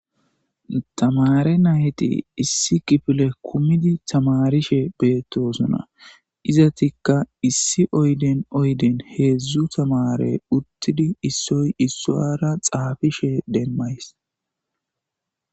tamare nayeti issi kifile kumidi tamarishe beettosona izatikka issi oyden oyden heedzdzu tamare uttidi issoy issoara xaafishe demmays